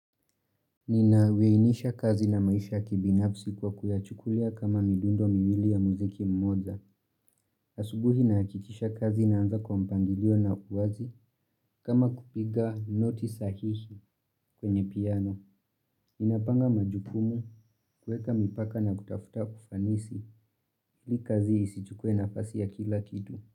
Ninaweinisha kazi na maisha kibinafsi kwa kuyachukulia kama midundo miwili ya muziki mmoja. Asubuhi nahakikisha kazi naanza kwa mpangilio na uwazi kama kupiga noti sahihi kwenye piano. Ninapanga majukumu kuweka mipaka na kutafuta kufanisi. Ili kazi isichukue nafasi ya kila kitu.